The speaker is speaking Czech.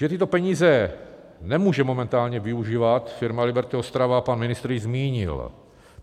Že tyto peníze nemůže momentálně využívat firma Liberty Ostrava, pan ministr již zmínil.